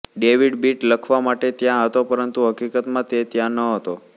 David Beat લખવા માટે ત્યાં હતો પરંતુ હકીકતમાં તે ત્યાં ન હતો